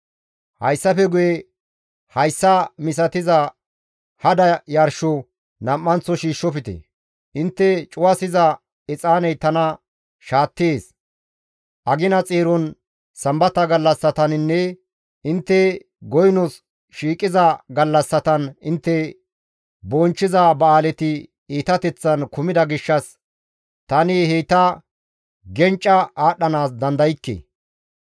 Hayssafe guye hayssa misatiza hada yarsho nam7anththo shiishshofte; intte cuwasiza exaaney tana shaattees; agina xeeron, sambata gallassataninne intte goynos shiiqiza gallassatan intte bonchchiza ba7aaleti iitateththan kumida gishshas tani heyta gencca aadhdhanaas dandaykke.